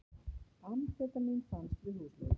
Amfetamín fannst við húsleit